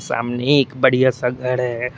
सामने एक बढ़िया सा घर है।